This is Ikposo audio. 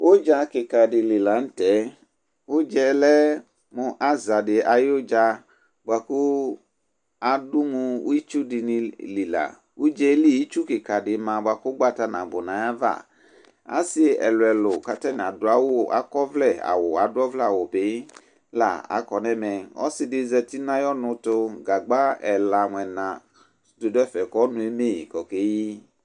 Ʋdza kɩka dɩ li la nʋ tɛ, ʋdza yɛ lɛ mʋ aza dɩ ayʋ ʋdza, bʋa kʋ adʋ mʋ itsu dɩnɩ li la Ʋdza yɛ li itsu kɩka dɩ ma bʋa kʋ ʋgbata nabʋ nʋ ayava Asɩ ɛlʋ-ɛlʋ kʋ atanɩ adʋ awʋ akɔ ɔvlɛ adʋ ɔvlɛ awʋ bɩ la akɔ nʋ ɛmɛ, ɔsɩ dɩ zati nʋ ayʋ ɔnʋ ɛtʋ, gagba ɛla mʋ ɛna dɩ dʋ ɛfɛ kʋ ɔnʋ eme yɩ kʋ okeyi